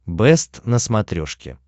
бэст на смотрешке